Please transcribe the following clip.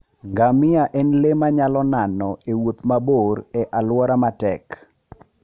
Ngamia en le manyalo nano e wuoth mabor e alwora matek.